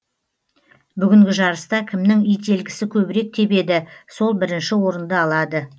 бүгінгі жарыста кімнің ителгісі көбірек тебеді сол бірінші орынды алады